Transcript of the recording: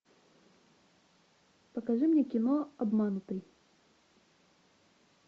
покажи мне кино обманутый